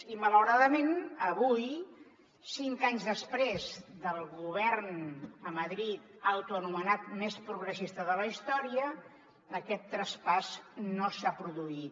i malauradament avui cinc anys després del govern a madrid autoanomenat més progressista de la història aquest traspàs no s’ha produït